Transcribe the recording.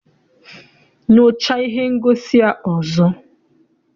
Nyochaa ihe ngosi a ọzọ!